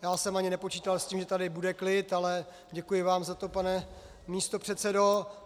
Já jsem ani nepočítal s tím, že tady bude klid, ale děkuji vám za to, pane místopředsedo.